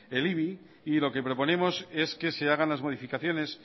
el ibi y lo que proponemos es que se hagan las modificaciones